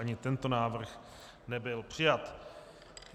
Ani tento návrh nebyl přijat.